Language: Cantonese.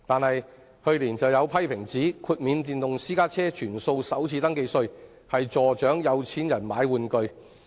然而，去年有批評指出，全數豁免電動私家車首次登記稅變相資助"有錢人買玩具"。